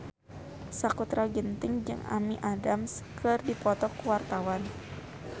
Sakutra Ginting jeung Amy Adams keur dipoto ku wartawan